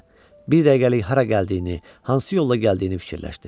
Bir dəqiqəlik hara gəldiyini, hansı yolla gəldiyini fikirləşdi.